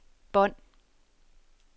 bånd